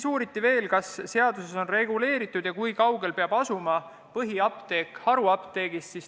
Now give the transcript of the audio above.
Uuriti veel seda, kas seaduses on reguleeritud, kui kaugel peab asuma põhiapteek haruapteegist.